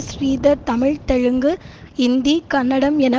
ஸ்ரீதர் தமிழ் தெலுங்கு இந்தி கன்னடம் என